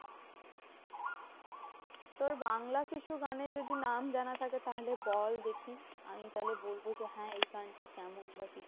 তোর বাংলা কিছু গানের যদি নাম জানা থাকে, তাহলে বল দেখি। আমি তাহলে বলবো যে হ্যাঁ? এই গানটা কেমন বা কিছু?